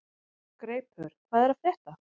Greipur, hvað er að frétta?